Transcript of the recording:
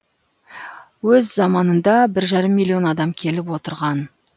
өз заманында бір жарым миллион адам келіп кетіп отырған